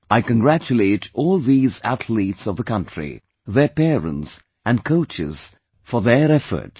I congratulate all these athletes of the country, their parents and coaches for their efforts